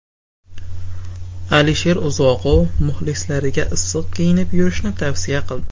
Alisher Uzoqov muxlislariga issiq kiyinib yurishni tavsiya qildi.